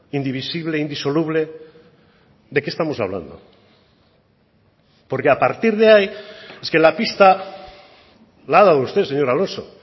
indivisible indisoluble de qué estamos hablando porque a partir de ahí es que la pista la ha dado usted señor alonso